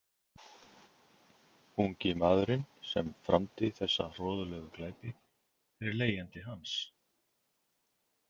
Ungi maðurinn sem framdi þessa hroðalegu glæpi er leigjandi hans.